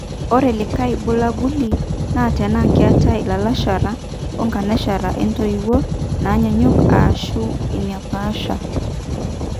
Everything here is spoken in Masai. Ore likae bulabuli naa tenaa keeta ilalashera onkanashera intoiwuo naanyaanyuk ashu inaapaasha